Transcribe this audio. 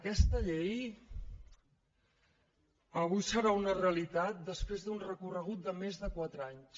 aquesta llei avui serà una realitat després d’un recorregut de més de quatre anys